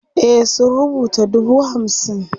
e sun rubuta dubu hamsin